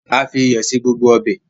a fi iyọ ṣe gbogbo Ọbẹ̀.